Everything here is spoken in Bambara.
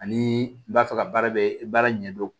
Ani i b'a fɛ ka baara bɛɛ baara ɲɛdɔn